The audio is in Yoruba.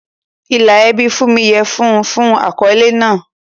Ìlà ẹbí Funmi yẹ fún un fún àkọ́lé náà.